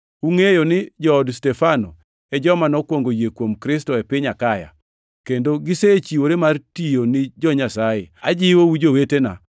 Ungʼeyo ni jood Stefano e joma nokwongo yie kuom Kristo e piny Akaya, kendo gisechiwore mar tiyo ni jo-Nyasaye. Ajiwou, jowetena,